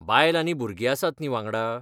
बायल आनी भुरगीं आसात न्ही वांगडा.